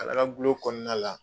Kala kagulon kɔnɔna la